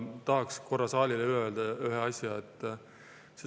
Tahaks korra saalile öelda ühte asja.